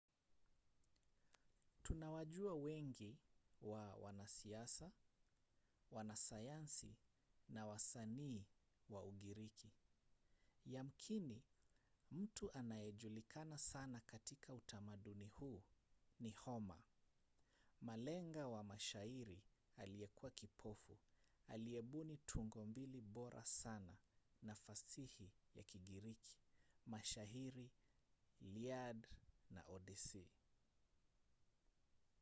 tunawajua wengi wa wanasiasa wanasayansi na wasanii wa ugiriki. yamkini mtu anayejulikana sana katika utamaduni huu ni homer malenga wa mashairi aliyekuwa kipofu aliyebuni tungo mbili bora sana za fasihi ya kigiriki: mashairi iliad na odyssey